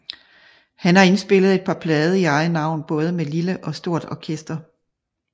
Han har indspillet et par plader i eget navn både med lille og stort orkester